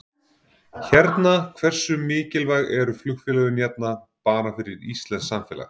Hérna hversu mikilvæg eru flugfélögin hérna bara fyrir íslenskt samfélag?